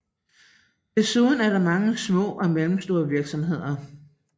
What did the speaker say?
Desuden er der mange små og mellemstore virksomheder